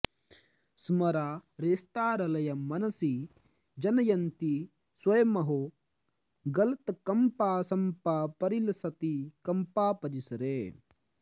स्मरारेस्तारल्यं मनसि जनयन्ती स्वयमहो गलत्कम्पा शम्पा परिलसति कम्पापरिसरे